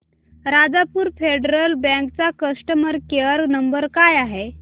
Rajapur federal bank चा customer care number काय आहे